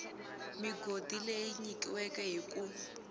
migodi leyi nyikiweke hi ku